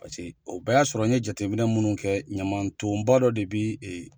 Paseke o bɛɛ y'a sɔrɔ n ye jateminɛ minnu kɛ ɲaman tonba dɔ de be e